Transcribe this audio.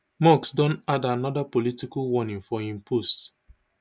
musk don add anoda political warning for im post